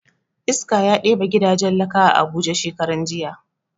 Iska ya ɗebe gidajen laka a abuja shekaran jiya